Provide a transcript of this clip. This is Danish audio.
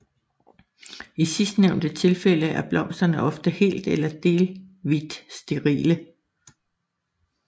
I sidstnævnte tilfælde er blomsterne ofte helt eller delvit sterile